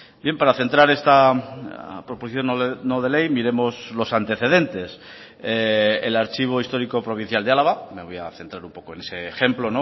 bien para centrar esta proposición no de ley miremos los antecedentes el archivo histórico provincial de álava me voy a centrar un poco en ese ejemplo